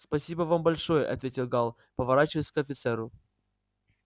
спасибо вам большое ответил гаал поворачиваясь к офицеру